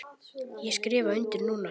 Ég skrifa undir núna.